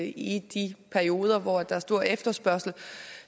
i de perioder hvor der er stor efterspørgsel